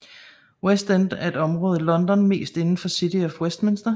West End er et område i London mest inden for City of Westminster